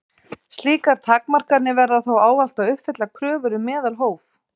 Slíkar takmarkanir verða þó ávallt að uppfylla kröfur um meðalhóf.